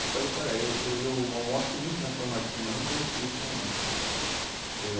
Eu falei eu eu eu almoço muito na São Martinho, mas não conhecia o senhor, não. Eh